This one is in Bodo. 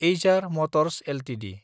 HR motors Ltd